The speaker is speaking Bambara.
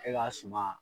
E ka suma